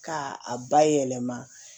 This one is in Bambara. K'a a bayɛlɛma